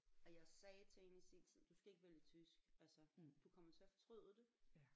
Og jeg sagde til hende i sin tid du skal ikke vælge tysk altså du kommer til at fortryde det